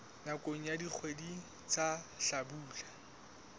nakong ya dikgwedi tsa hlabula